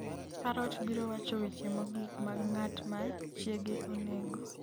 Parrot biro wacho weche mogik mag ng’at ma chiege onego